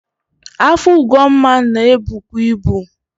Afọ Ugonma na ebukwu ibu.